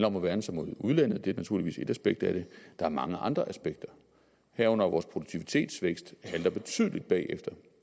om at værne sig mod udlandet det er naturligvis et aspekt af det der er mange andre aspekter herunder at vores produktivitetsvækst halter betydeligt bagefter